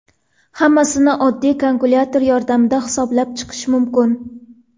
Hammasini oddiy kalkulyator yordamida hisoblab chiqish mumkin.